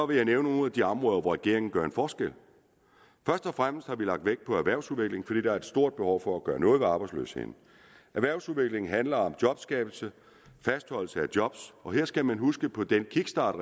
vil jeg nævne nogle af de områder hvor regeringen gør en forskel først og fremmest har vi lagt vægt på erhvervsudvikling fordi der er et stort behov for at gøre noget ved arbejdsløsheden erhvervsudviklingen handler om jobskabelse og fastholdelse af job og her skal man huske på den kickstart